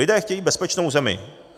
Lidé chtějí bezpečnou zemi.